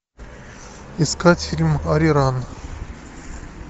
искать фильм ариран